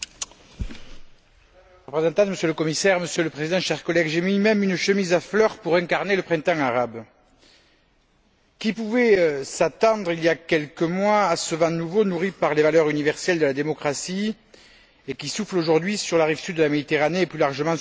Monsieur le Président, Monsieur le Commissaire, chers collègues, j'ai même mis une chemise à fleurs pour incarner le printemps arabe. Qui pouvait s'attendre, il y a quelques mois, à ce vent nouveau nourri par les valeurs universelles de la démocratie, et qui souffle aujourd'hui sur la rive sud de la Méditerranée et, plus largement, sur le monde arabe?